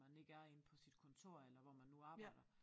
Man ikke er inde på sit kontor eller hvor man nu arbejder